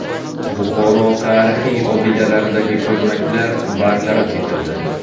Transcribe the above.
Buxoro tarixiy obidalaridagi ko‘lmaklar bartaraf etildi.